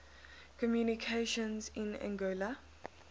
communications in anguilla